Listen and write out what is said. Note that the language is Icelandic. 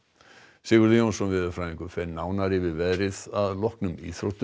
Sigurður Jónsson veðurfræðingur fer nánar yfir veðrið að loknum íþróttum